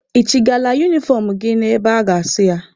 Ị chịgala unifọm gị na-ebe a ga-asụ ya?